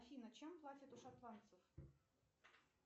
афина чем платят у шотландцев